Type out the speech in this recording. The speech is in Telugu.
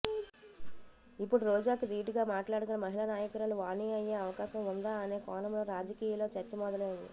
ఇప్పుడు రోజాకి దీటుగా మాట్లాడగల మహిళా నాయకురాలు వాణీ అయ్యే అవకాశం ఉందా అనే కోణంలో రాజకీయలో చర్చ మొదలైంది